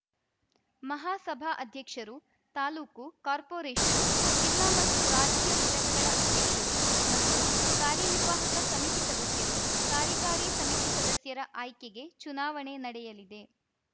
ಮಹಾಸಭಾ ಅಧ್ಯಕ್ಷರು ತಾಲೂಕು ಕಾರ್ಪೋರೇಷನ್‌ ಜಿಲ್ಲಾ ಮತ್ತು ರಾಜ್ಯ ಘಟಕಗಳ ಅಧ್ಯಕ್ಷರು ಮತ್ತು ಕಾರ್ಯನಿರ್ವಾಹಕ ಸಮಿತಿ ಸದಸ್ಯರು ಕಾರ್ಯಕಾರಿ ಸಮಿತಿ ಸದಸ್ಯರ ಆಯ್ಕೆಗೆ ಚುನಾವಣೆ ನಡೆಯಲಿದೆ